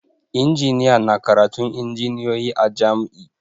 Injiniya na karatun injiniyoyi a jam'i